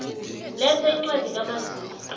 letha incwadi kamazisi